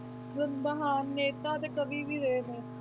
ਮਤਲਬ ਜਿੱਦਾਂ ਹਾਂ ਨੇਤਾ ਤੇ ਕਵੀ ਵੀ ਰਹੇ ਹੈ।